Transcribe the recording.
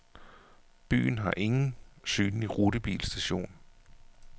Byen har ingen synlig rutebilstation.